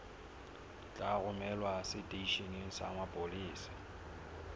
tla romelwa seteisheneng sa mapolesa